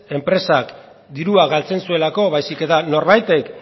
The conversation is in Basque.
enpresak dirua galtzen zuelako baizik eta norbaitek